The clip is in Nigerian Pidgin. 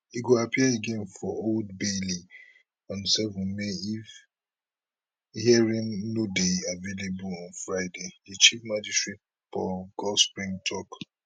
e go appear again for old bailey on 7 may if hearing no dey available on friday di chief magistrate paul goldspring tok